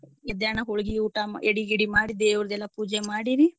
ಎದ್ಯಾನ ಹೋಳ್ಗಿ ಊಟಾ ಎಡಿ ಗಿಡಿ ಮಾಡಿ ದೇವ್ರ್ದೆಲ್ಲಾ ಪೂಜೆ ಮಾಡಿ ರೀ.